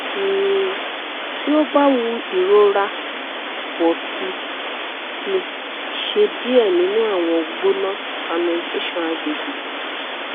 um ti o ba wu irora pọ si si ṣe diẹ ninu awọn gbona fermentation agbegbe